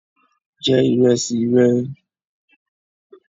Je ìrẹsì re